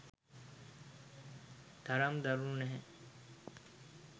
එතරම් දරුණු නැහැ